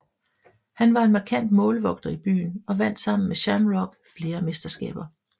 Han var en markant målvogter i byen og vandt sammen med Shamrock flere mesterskaber